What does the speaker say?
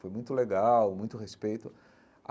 Foi muito legal, muito respeito.